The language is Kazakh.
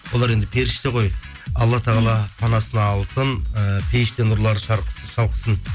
олар енді періште ғой алла тағала панасына алсын ііі пейіште нұрлары шалқысын